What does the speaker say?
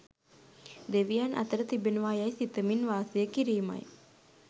දෙවියන් අතර තිබෙනවා යැයි සිතමින් වාසය කිරීමයි.